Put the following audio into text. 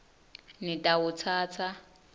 nitawutsatsa